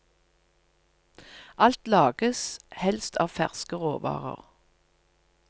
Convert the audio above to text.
Alt lages helst av ferske råvarer.